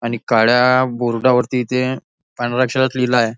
आणि काळ्या बोर्डावरती इथे पांढऱ्या अक्षरात लिहिला आहे.